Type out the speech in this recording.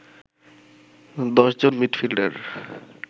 ১০ জন মিডফিল্ডার